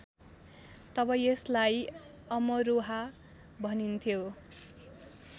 तब यसलाई अमरोहा भनिन्थ्यो